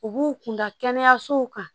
U b'u kun da kɛnɛyasow kan